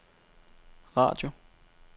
radio